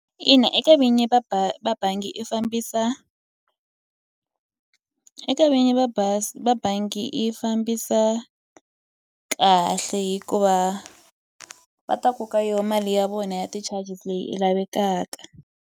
Ina eka vinyi va ba va bangi i fambisa eka vinyi va bazi va bangi yi fambisa kahle hikuva va ta koka yo mali ya vona ya ti-charges leyi i lavekaka.